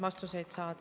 Aitäh!